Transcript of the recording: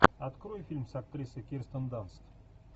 открой фильм с актрисой кирстен данст